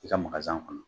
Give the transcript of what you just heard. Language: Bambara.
I ka kɔnɔ